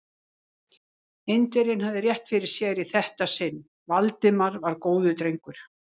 Indverjinn hafði rétt fyrir sér í þetta sinn: Valdimar var góður drengur.